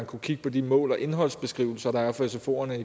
kunne kigge på de mål og indholdsbeskrivelser der er for sfoerne